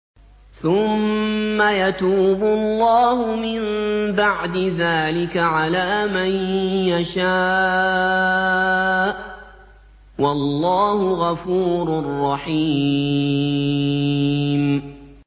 ثُمَّ يَتُوبُ اللَّهُ مِن بَعْدِ ذَٰلِكَ عَلَىٰ مَن يَشَاءُ ۗ وَاللَّهُ غَفُورٌ رَّحِيمٌ